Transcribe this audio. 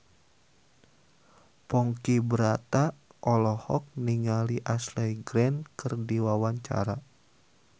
Ponky Brata olohok ningali Ashley Greene keur diwawancara